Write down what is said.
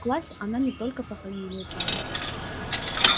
в классе она не только по фамилии звала